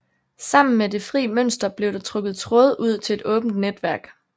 Sammen med det fri mønster blev der trukket tråde ud til et åbent netværk